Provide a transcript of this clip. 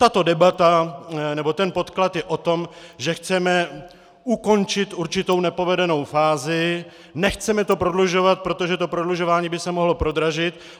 Tato debata nebo ten podklad je o tom, že chceme ukončit určitou nepovedenou fázi, nechceme to prodlužovat, protože to prodlužování by se mohlo prodražit.